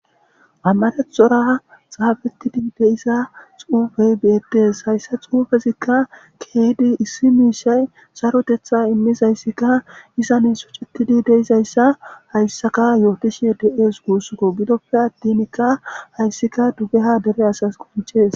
Ammarethora xaafettidi deisa xuufey bi7etes hayssa xuufezikka keeydi issi miishay sarotetha immis hayssika izane sucettidi deizayssa hayssaka yootishe de'ees guussko bidoppe adtinkka hayssika dugeha dere asas qonchees.